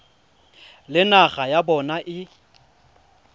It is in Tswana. le naga ya bona e